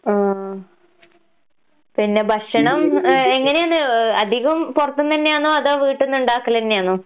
ആഹ്. പിന്നെ ഭക്ഷണം ഏഹ് എങ്ങനേന്ന് ഏഹ് അധികം പൊറത്ത്ന്നയാന്നോ അതോ വീട്ട്ന്നിണ്ടാക്കലന്യാന്നോ?